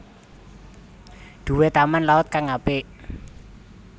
Duwe Taman laut kang apik